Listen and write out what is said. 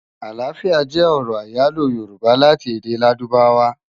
Aláfiá jè òrò áyáló yórùbá láti èdè ládùbáwá